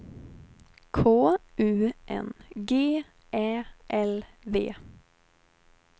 K U N G Ä L V